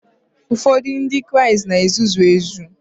Ụfọdụ Ndị Kraịst na ezuzu n'ezie